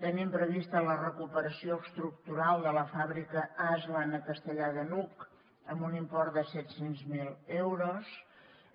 tenim prevista la recuperació estructural de la fàbrica asland a castellar de n’hug amb un import de set cents miler euros